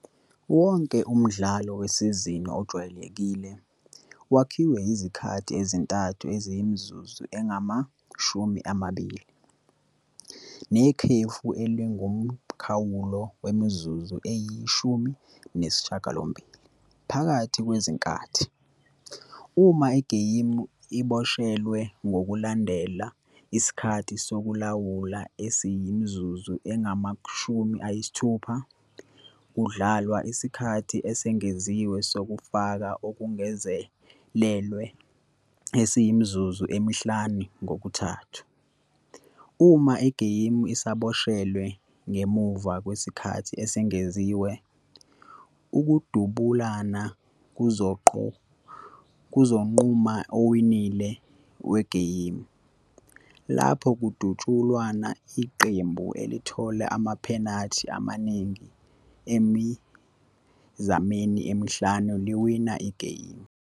Wonke umdlalo wesizini ojwayelekile wakhiwe izikhathi ezintathu eziyimizuzu engama-20, nekhefu elingumkhawulo wemizuzu eyi-18 phakathi kwezinkathi. Uma igeyimu iboshelwe ngokulandela isikhathi sokulawula esiyimizuzu engama-60, kudlalwa isikhathi esengeziwe sokufa okungazelelwe esiyimizuzu emihlanu kokuthathu kokuthathu. Uma igeyimu isaboshelwe ngemuva kwesikhathi esengeziwe, ukudubulana kuzonquma owinile wegeyimu. Lapho kudutshulwana, iqembu elithola amaphenathi amaningi emizameni emihlanu liwina igeyimu.